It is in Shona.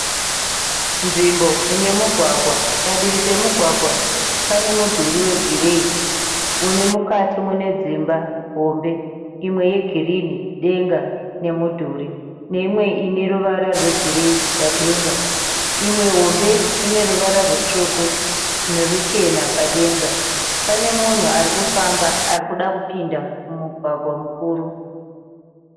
Nzvimbo inemugwagwa. Padivi pamugwagwa pane mudhuri wegireyi une mukati munedzimba hombe . Imwe yegirinhi denga nemudhuri. Neimwe ineruvara rwegireyi padenga. Imwe hombe ineruvara rwutsvuku neruchena padenga. Pane munhu arikufamba arikuda kupinda mumugwagwa mukuru.